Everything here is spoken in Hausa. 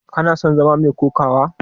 Kana son zama mai kokawa?